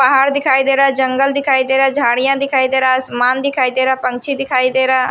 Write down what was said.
पहाड़ दिखाई दे रहा है जंगल दिखाई दे रहा है झाड़ियां दिखाई दे रहा है असमान दिखाई दे रहा है पंछी दिखाई दे रहा --